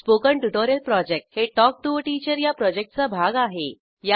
spoken tutorial project हे talk to teacher या प्रॉजेक्टचा भाग आहे